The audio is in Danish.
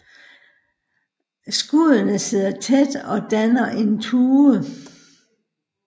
Skuddene sidder tæt og danner en tue